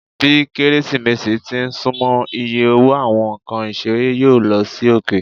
Bi Keresimesi ti n sunmọ, iye owo Awọn nkan isere yoo lo sí oke.